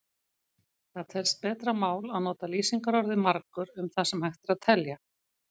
Það telst betra mál að nota lýsingarorðið margur um það sem hægt er að telja.